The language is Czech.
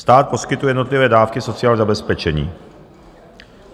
Stát poskytuje jednotlivé dávky sociálního zabezpečení.